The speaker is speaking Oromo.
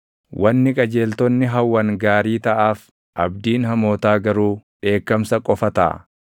Wanni qajeeltonni hawwan gaarii taʼaaf; abdiin hamootaa garuu dheekkamsa qofa taʼa.